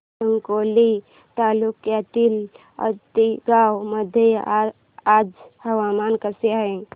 साकोली तालुक्यातील आतेगाव मध्ये आज हवामान कसे आहे